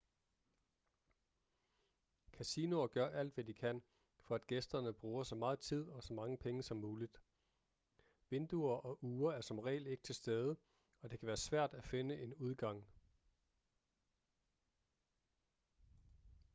kasinoer gør alt hvad de kan for at gæsterne bruger så meget tid og så mange penge som muligt vinduer og ure er som regel ikke til stede og det kan være svært at finde en udgang